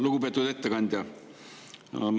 Lugupeetud ettekandja!